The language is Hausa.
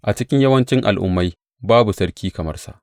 A cikin yawancin al’ummai babu sarki kamar sa.